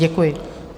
Děkuji.